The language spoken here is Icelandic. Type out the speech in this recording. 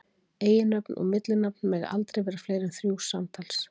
Eiginnöfn og millinafn mega aldrei vera fleiri en þrjú samtals.